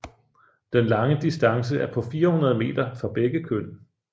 Den lange distance er på 400 meter for begge køn